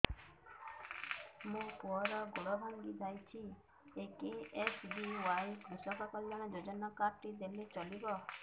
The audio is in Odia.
ମୋ ପୁଅର ଗୋଡ଼ ଭାଙ୍ଗି ଯାଇଛି ଏ କେ.ଏସ୍.ବି.ୱାଇ କୃଷକ କଲ୍ୟାଣ ଯୋଜନା କାର୍ଡ ଟି ଦେଲେ ଚଳିବ